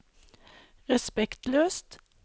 respektløst